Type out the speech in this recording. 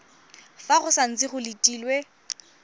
fa go santse go letilwe